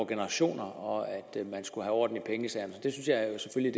generationer og at man skulle have orden i pengesagerne synes